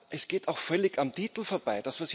Es geht auch völlig am Titel vorbei.